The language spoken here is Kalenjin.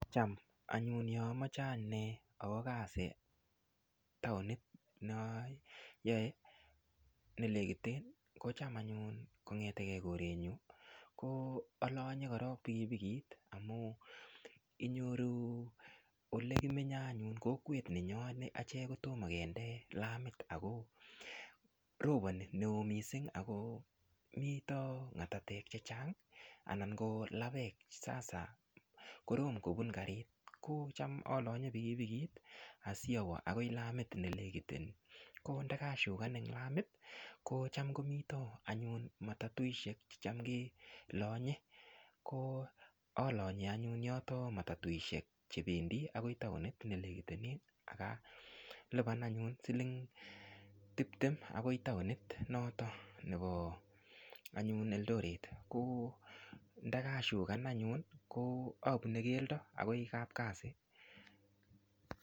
Cham anyun ya amache ane awa kazi taonit nayae nelekiten kocham anyun kongetege korenyu ko alonye korok pikipikit amu inyoru olekimenye achek anyun kokwet nenyoo achek kotomo kende lamit ako roponi neo mising ako mito ng'atatek chechang anan ko lapek sasa korom kopun karit ko cham alonye pikipikit asiawa akoi lamit me lekiten ko ndakashukan eng lamit ko cham komito anyun matatuishek checham kelonye ko alonye anyun yoto matatuishek chependi akoi taonit nelekitenen akalipan anyun siling tiptem akoi taonit noto nepo anyun eldoret ko ndakashukan anyun apune keldo akoi kapkasi